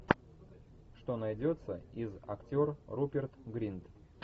что найдется из актер руперт гринт